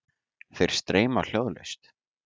Þeir streyma hljóðlaust.